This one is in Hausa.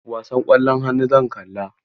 Wasan ƙwallon hannu zan kalla.